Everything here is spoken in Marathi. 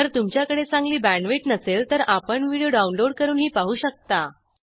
जर तुमच्याकडे चांगली बॅण्डविड्थ नसेल तर आपण व्हिडिओ डाउनलोड करूनही पाहू शकता